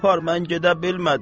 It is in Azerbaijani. Apar, mən gedə bilmədim.